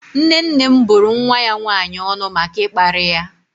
Nne nne m bụrụ nwa ya nwannyi ọnụ maka ịkparị ya.